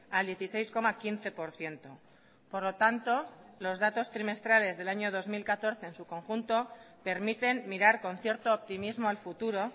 al dieciséis coma quince por ciento por lo tanto los datos trimestrales del año dos mil catorce en su conjunto permiten mirar con cierto optimismo al futuro